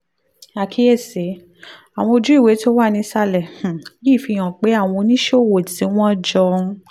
àkíyèsí: àwọn ojúewé tó wà nísàlẹ̀ um yìí fi hàn pé àwọn oníṣòwò tí wọ́n jọ ń